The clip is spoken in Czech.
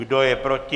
Kdo je proti?